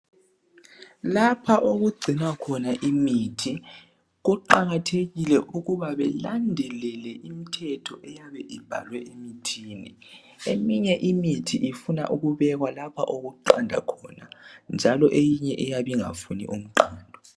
Lapha okugcinwa khona imithi kuqakathekile ukuba belandelele imthetho eyabe ibhalwe emithini eminye imithi ifuna ukubekwa lapho okuqanda khona njalo eyinye iyabe ingafuni umqando